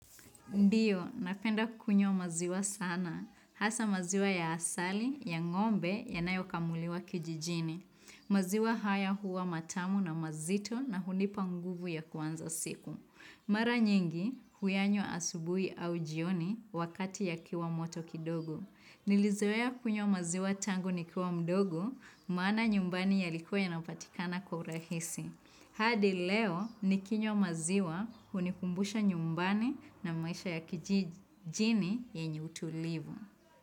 Ndio, napenda kukunywa maziwa sana. Hasa maziwa ya asali, ya ng'ombe, yanayokamuliwa kijijini. Maziwa haya huwa matamu na mazito na hunipa nguvu ya kuanza siku. Mara nyingi, huyanywa asubuhi au jioni wakati yakiwa moto kidogo. Nilizoea kunywa maziwa tangu nikiwa mdogo, maana nyumbani yalikuwa inapatikana kwa urahisi. Hadi leo nikinywa maziwa hunikumbusha nyumbani na maisha ya kijijini yenye utulivu.